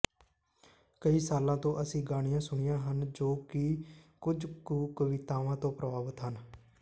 ਕਈ ਸਾਲਾਂ ਤੋਂ ਅਸੀਂ ਗਾਣਿਆਂ ਸੁਣੀਆਂ ਹਨ ਜੋ ਕਿ ਕੁਝ ਕੁ ਕਵਿਤਾਵਾਂ ਤੋਂ ਪ੍ਰਭਾਵਤ ਹਨ